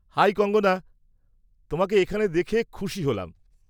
High Kangana, তোমাকে এখানে দেখে খুশি হলাম।